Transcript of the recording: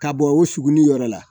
Ka bɔ o suguniyɔrɔ la